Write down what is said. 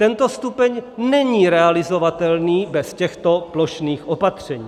Tento stupeň není realizovatelný bez těchto plošných opatření.